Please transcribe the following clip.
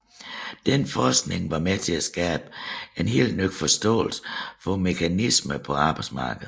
Denne forskning var med til at skabe en helt ny forståelse for mekanismerne på arbejdsmarkedet